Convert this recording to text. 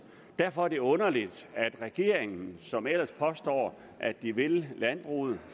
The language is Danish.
derfor er det underligt at regeringen som ellers påstår at de vil landbruget